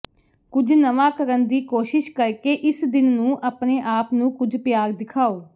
ਕੁਝ ਨਵਾਂ ਕਰਨ ਦੀ ਕੋਸ਼ਿਸ਼ ਕਰਕੇ ਇਸ ਦਿਨ ਨੂੰ ਆਪਣੇ ਆਪ ਨੂੰ ਕੁਝ ਪਿਆਰ ਦਿਖਾਓ